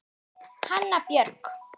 Hanna Björg.